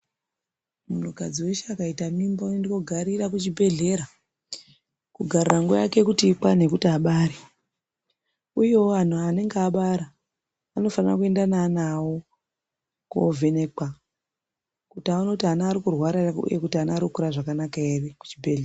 Muakdzi weshe akaita mimba oende kunogarira kuchibhedhleya kugarira nguvai yake ikwane yekuti abare uyewo wanhu anenge aabara unofana kuenda neana wavo kovhenekwa kuti aone kuti wana wari kurarwa here uye kuti Ari kukura zvakanaka here kuchibhedhleya.